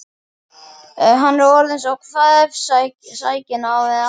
Hann er orðinn svo kvefsækinn með aldrinum karlinn.